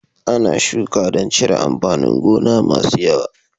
Ana shuka dan cire amfanin gona masu yawa